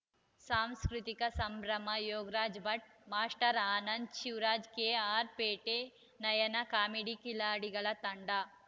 ಸಾಂಸ್ಕೃತಿಕ ಸಂಭ್ರಮ Yogaraj Bhat master Anand Shivaraj KR Pete Nayana comedy ಕಿಲಾಡಿಗಳ ತಂಡ